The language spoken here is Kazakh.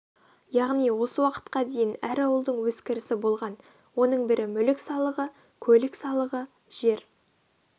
яғни осы уақытқа дейін әр ауылдың өз кірісі болған оның бірі мүлік салығы көлік салығы жер